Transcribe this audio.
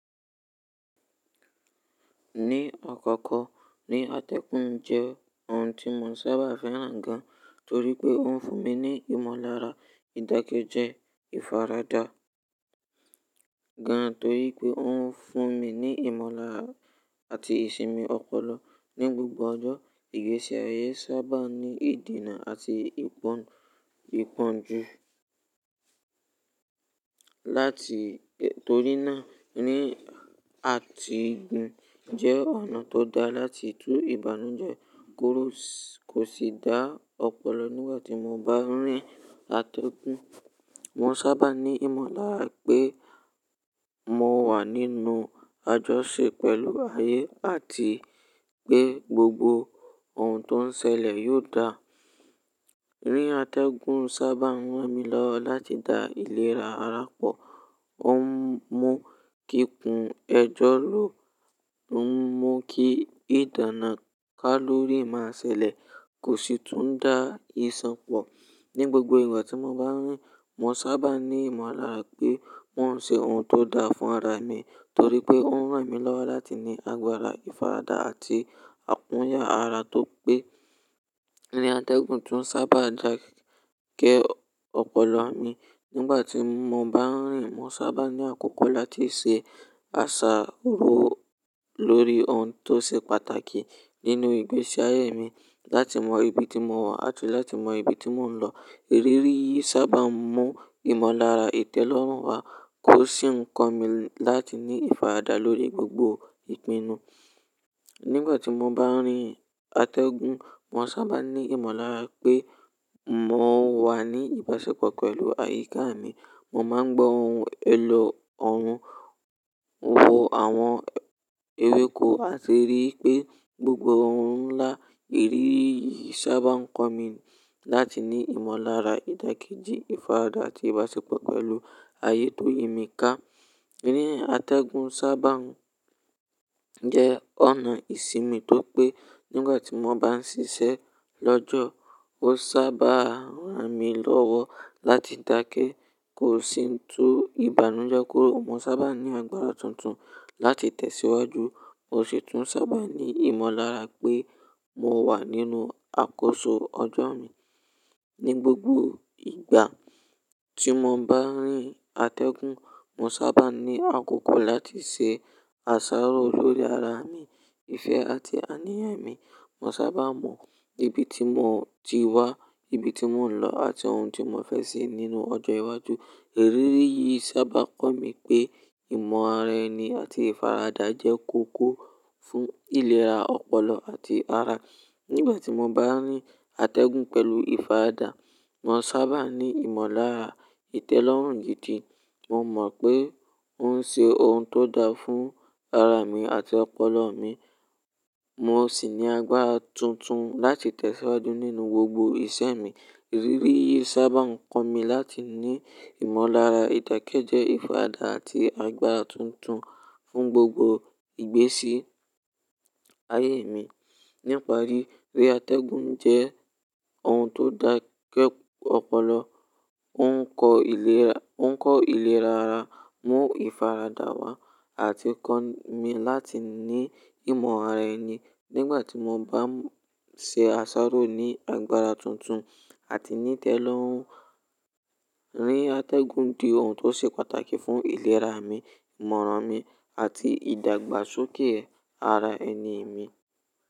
Ní àkọ́kọ́, ní atẹ́gùn jẹ́ ohun tí mò ń sábà fẹ́ràn gan torí pé ó ń fún mi ní ìmọ̀lára ìdáké jẹ́ ìfaradà gan torí pé ó ń fún mi ní ìmọ̀lára àti ìsinmi ọpọlọ ní gbogbo ọjọ́. Ìgbésí ayé sábà ní ìdènà àti ìpọ́n-ìpọ́njú láti, torí náà ní atigùn jẹ́ ọ̀nà tó dáa láti tú ìbànújẹ́ kúrò, kò sì dá ọpọlọ nígbà tí mo bá ń rí atẹ́gùn. Mo sábà ní ìmọ̀lára pé mo wà nínú àjọṣe pẹ̀lú ayé àti pé gbogbo ohun tó ń ṣẹlẹ̀ yóò dáa. Ní atẹ́gùn sábà ń ran mi lọ́wọ́ láti da ìlera ara pọ̀. Ó ń mú kí kun ẹjọ́ ló, ó ń mú kí ìdáná kálórì máa ṣẹlẹ̀, kò sì tún ń dá ìṣàn pọ̀. Ní gbogbo ìgbà tí mo bá ń rí, mo sábà ní ìmọ̀lára pé mò ń ṣe ohun tó dáa fún ara mi torí pé ó ń ran mi lọ́wọ́ láti ní agbára ìfaradà àti àkóràn ara tó pé. Ní atẹ́gùn tún sábà ń dàkẹ́ ọpọlọ mi. Nígbà tí mo bá ń rín, mo sábà ní àkókò láti ṣe àsáró lórí ohun tó ṣe pàtàkì nínú ìgbésí ayé mi, láti mọ ibi tí mò ń wà àti láti mọ ibi tí mò ń lọ. Irirí yìí sábà ń mú ìmọ̀lára ìtẹ́lọ́rùn wá, kò sì ń kọ́ mi láti ní ìfaradà lórí gbogbo ìpinnu. Nígbà tí mo bá ń rí atẹ́gùn, mo sábà ní ìmọ̀lára pé mò ń wà ní ìbáṣepọ̀ pẹ̀lú ayiká mi. Mo máa ń gbọ́ ohùn ẹlọ́ ohun, wò àwọn ewéko, a tì rí wipé gbogbo ohun ńlá. Irirí yìí sábà ń kọ́ mi láti ní ìmọ̀lára ìdáké jẹ́ ìfaradà àti ìbáṣepọ̀ pẹ̀lú ayé tó yìí mi ká. Ní atẹ́gùn sábà ń jẹ́ ọ̀nà ìsinmi tó pé nígbà tí mo bá ń ṣiṣẹ́ lọ́jọ́, ó sábà ń ran mi lọ́wọ́ láti dákẹ́, kò sì ń tú ìbànújẹ́ kúrò. Mo sábà ní agbára tuntun láti tẹ̀síwájú, mo sì tún sábà ní ìmọ̀lára pé mo wà nínú àkóso ọjọ́ mi. Ní gbogbo ìgbà tí mo bá ń rí atẹ́gùn, mo sábà ní àkókò láti ṣe àsáró lórí ara mi, ìfẹ́ àti àníyàn mi. Mo sábà mọ ibi tí mò ti wá, ibi tí mò ń lọ àti ohun tí mò fẹ́ ṣe nínú ọjọ́ iwájú. Irirí yìí sábà ń kọ́ mi pé ìmọ̀ ara ẹni àti ìfaradà jẹ́ kókó fún ìlera ọpọlọ àti ara. Nígbà tí mo bá ń rí atẹ́gùn pẹ̀lú ìfaradà, mo maa sábà ní ìmọ̀lára ìtẹ́lọ́rùn gidi. Mo mọ̀ pé ń ṣe ohun tó dáa fún ara mi àti ọpọlọ mi, mo sì ní agbára tuntun láti tẹ̀síwájú nínú gbogbo ìṣe mi. Irirí yìí sábà ń kọ́ mi láti ní ìmọ̀lára ìdákéjẹ́ ìfaradà àti agbára tuntun fún gbogbo ìgbésí ayé mi. Níparí, ere atẹ́gùn jẹ́ ohun tó dàkẹ́ ọpọlọ, ó ń kọ́ ìlera ara, mú ìfaradà wá àti kọ́ mi láti ní ìmọ̀ ara ẹni nígbà tí mo bá ń ṣe àsáró ní agbára tuntun àti ní ìtẹ́lọ́rùn. Ere atẹ́gùn je ohun tó ṣe pàtàkì fún ìlera mi, ìmọ̀ràn mi àti ìdàgbàsókè ara ẹni mi.